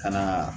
Ka na